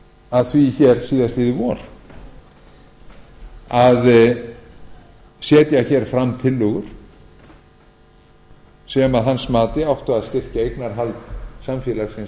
að því hér síðastliðið vor að setja hér fram tillögur sem að hans mati áttu að styrkja eignarhald samfélagsins